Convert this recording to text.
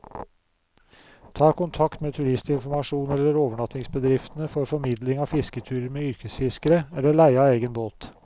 Ta kontakt med turistinformasjonen eller overnattingsbedriftene for formidling av fisketurer med yrkesfiskere, eller leie av egen båt.